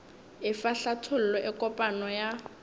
efa hlathollo e kopana ya